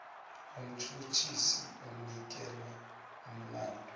umtjhutjhisi onikelwe umlandu